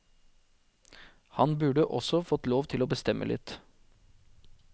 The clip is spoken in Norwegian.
Han burde også fått lov til å bestemme litt.